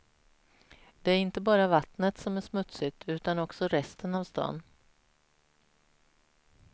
Det är inte bara vattnet som är smutsigt, utan också resten av staden.